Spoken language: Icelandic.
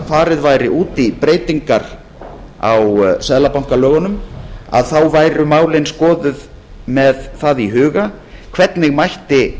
farið yrði út í breytingar á seðlabankalögunum væru málin skoðuð með það í huga hvernig mætti